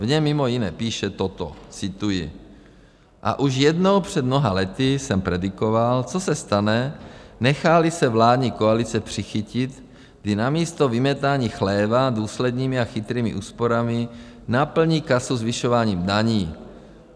V něm mimo jiné píše toto - cituji: A už jednou, před mnoha lety, jsem predikoval, co se stane, nechá-li se vládní koalice přichytit, kdy namísto vymetání chléva důslednými a chytrými úsporami naplní kasu zvyšováním daní.